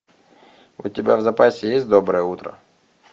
у тебя в запасе есть доброе утро